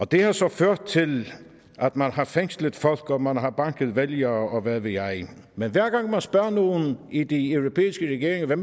det har så ført til at man har fængslet folk og man har banket vælgere og hvad ved jeg men hver gang man spørger nogen i de europæiske regeringer hvad